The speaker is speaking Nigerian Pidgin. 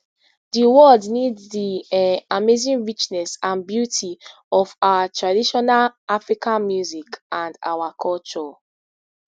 di world need di um amazing richness and beauty of our traditional african music and our culture